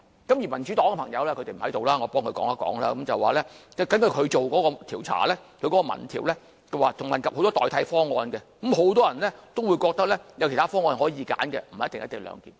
至於民主黨的朋友——他們並不在座，我替他們說一說——所進行的民意調查，問及很多代替方案，很多人都覺得有其他方案可供選擇，不一定是"一地兩檢"。